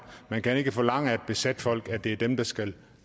man kan ikke forlange af et besat folk at det er dem der skal